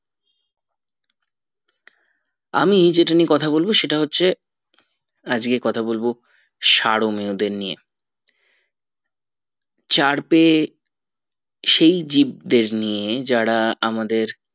আমি যেটা নিয়ে কথা বলবো সেটা হচ্ছে আজকে কথা বলবো সারোমীয়দের নিয়ে চারপেয়ে সেই জীব দেড় নিয়ে যারা আমাদের